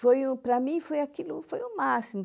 Foi o, para mim, foi aquilo, foi o máximo.